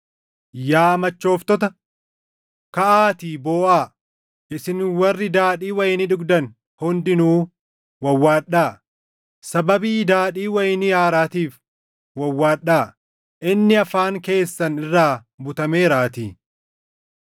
Yaa machooftota, kaʼaatii booʼaa! Isin warri daadhii wayinii dhugdan // hundinuu wawwaadhaa; sababii daadhii wayinii haaraatiif // wawwaadhaa; inni afaan keessan irraa butameeraatii.